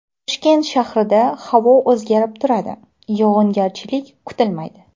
Toshkent shahrida havo o‘zgarib turadi, yog‘ingarchilik kutilmaydi.